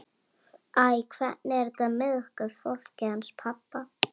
Æ, hvernig er þetta eiginlega með okkur fólkið hans pabba?